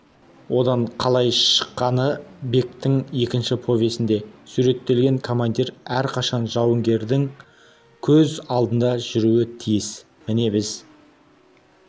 одан қалай шыққаны бектің екінші повесінде суреттелген командир әрқашан жауынгерлердің көз алдында жүруі тиіс міне біз